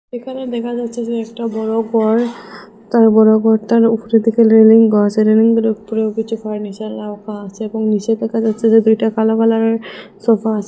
এখানে দেখা যাচ্ছে যে একটা বড় গর তারপরে গরটার উপরে থেকে রেলিং গর্সি রেলিংগুলোর উপরেও কিছু ফার্নিচার রাখা আছে এবং নীচে দেখা যাচ্ছে দুইটা কালো কালারের সোফা আছে।